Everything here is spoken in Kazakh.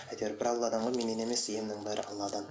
әйтеуір бір алладан ғой менен емес емнің бәрі алладан